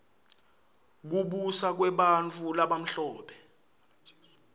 kubusa kwebantfu labamhlope